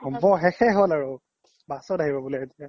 হব শেসয়ে হ্'ল আৰু bus ত আহিব বুলে এতিয়া